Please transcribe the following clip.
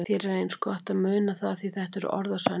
Þér er eins gott að muna það því þetta eru orð að sönnu.